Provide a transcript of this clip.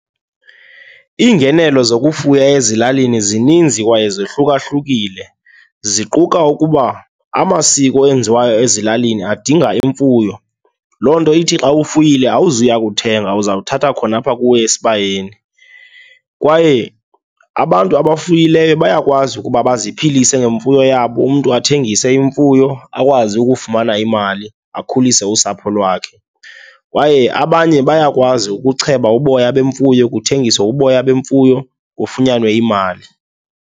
Iingenelo zokufuya ezilalini zininzi kwaye zohlukahlukile, ziquka ukuba amasiko enziwayo ezilalini adinga imfuyo, loo nto ithi xa ufuyile awuzuya kuthenga, uzawuthatha khona apha kuwe esibayeni. Kwaye abantu abafuyileyo bayakwazi ukuba baziphilise ngemfuyo yabo, umntu athengise imfuyo akwazi ukufumana imali, akhulise usapho lwakhe. Kwaye abanye bayakwazi ukucheba uboya bemfuyo kuthengiswe uboya bemfuyo kufunyanwe imali.